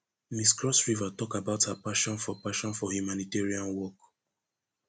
miss cross river tok about her passion for passion for humanitarian work